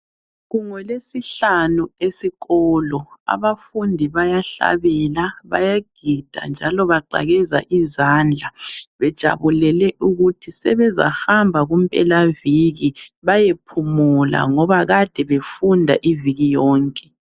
Kungolwesihlanu esikolo, abafundi bayahlabela bayagida njalo baqakeza izandla bejabulele ukuthi sebezahamba kumpelaviki bayephumula ngoba kade befunda iviki yonke.